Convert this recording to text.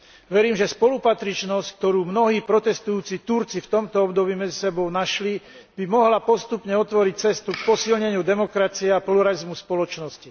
Verím, že spolupatričnosť, ktorú mnohí protestujúci Turci v tomto období medzi sebou našli, by mohla postupne otvoriť cestu k posilneniu demokracie a pluralizmu v spoločnosti.